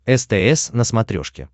стс на смотрешке